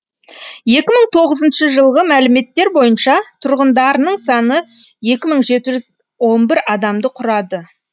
екі мың тоғызыншы жылғы мәліметтер бойынша тұрғындарының саны екі мың жеті жүз он бір адамды құрады